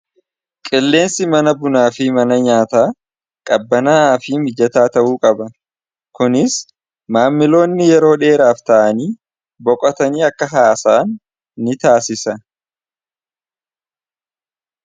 qilleensi mana bunaa fi mana nyaataa qabbanaaa fi mijataa ta'uu qaba kunis maammiloonni yeroo dheeraaf ta'anii boqotanii akka haasaan ni taasisa